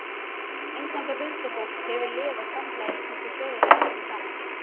Inngangur Huldufólk hefur lifað samhliða íslensku þjóðinni öldum saman.